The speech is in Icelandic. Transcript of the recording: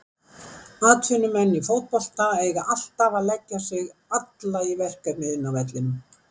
Atvinnumenn í fótbolta eiga alltaf að leggja sig alla í verkefnið inni á vellinum.